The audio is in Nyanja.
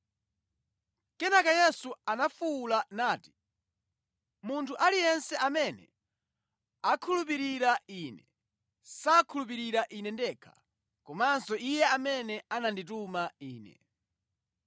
Kenaka Yesu anafuwula nati, “Munthu aliyense amene akhulupirira Ine, sakhulupirira Ine ndekha, komanso Iye amene anandituma Ine.